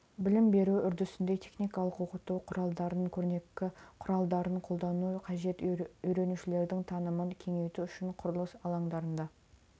білім беру үрдісінде техникалық оқыту құралдарын көрнекі құралдарын қолдану қажет үйренушілердің танымын кеңейту үшін құрылыс алаңдарында